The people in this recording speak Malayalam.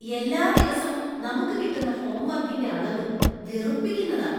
എല്ലാ ദിവസവും നമുക്ക് കിട്ടുന്ന ഹോം വർക്കിന്‍റെ അളവ് വെറുപ്പിക്കുന്നതാണ് .